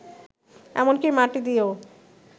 এমনকি মাটি দিয়েও